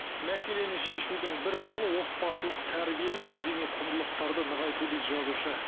мәселені шешудің бір жолы отбасылық тәрбие мен мәдени құндылықтарды нығайту дейді жазушы